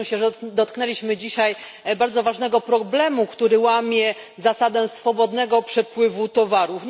Cieszę się, że dotknęliśmy dzisiaj bardzo ważnego problemu, który narusza zasadę swobodnego przepływu towarów.